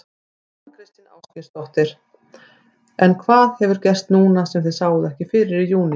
Þóra Kristín Ásgeirsdóttir: En hvað hefur gerst núna sem þið sáuð ekki fyrir í júní?